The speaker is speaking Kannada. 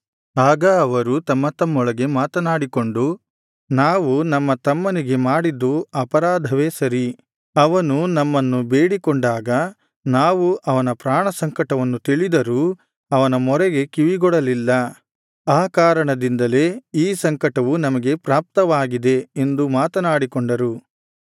ಆಗ ಅವರು ತಮ್ಮ ತಮ್ಮೊಳಗೆ ಮಾತನಾಡಿಕೊಂಡು ನಾವು ನಮ್ಮ ತಮ್ಮನಿಗೆ ಮಾಡಿದ್ದು ಅಪರಾಧವೇ ಸರಿ ಅವನು ನಮ್ಮನ್ನು ಬೇಡಿಕೊಂಡಾಗ ನಾವು ಅವನ ಪ್ರಾಣಸಂಕಟವನ್ನು ತಿಳಿದರೂ ಅವನ ಮೊರೆಗೆ ಕಿವಿಗೊಡಲಿಲ್ಲ ಆ ಕಾರಣದಿಂದಲೇ ಈ ಸಂಕಟವು ನಮಗೆ ಪ್ರಾಪ್ತವಾಗಿದೆ ಎಂದು ಮಾತನಾಡಿಕೊಂಡರು